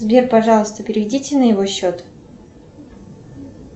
сбер пожалуйста переведите на его счет